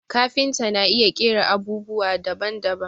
Kafinta na iya ƙera abubwa daban daban